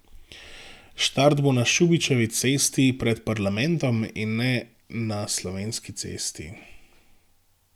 Start bo na Šubičevi cesti pred parlamentom, in ne na Slovenski cesti.